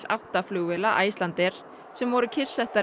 átta flugvéla Icelandair sem voru kyrrsettar